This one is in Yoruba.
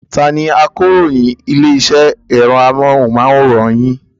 Ta ni akaròyìn ilé-iṣẹ́ ẹ̀rọ amóhùmáwòhán yín?